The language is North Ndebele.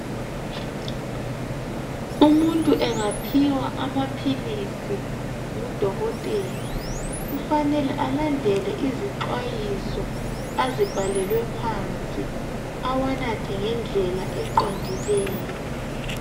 Umuntu engaphiwa amaphilisi ngudokotela kufanele alandele izixwayiso azibhalelwe phansi awanathe ngendlela eqondileyo.